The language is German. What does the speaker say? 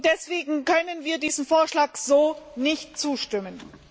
Deswegen können wir diesem Vorschlag so nicht zustimmen.